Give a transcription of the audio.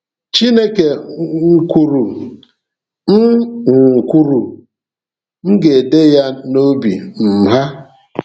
Chineke um kwuru, “M um kwuru, “M ga-ede ya n’obi um ha.”